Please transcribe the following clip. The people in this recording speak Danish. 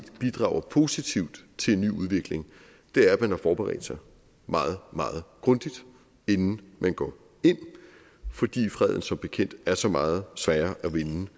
bidrager positivt til en ny udvikling er at man har forberedt sig meget meget grundigt inden man går ind fordi freden som bekendt er så meget sværere at vinde end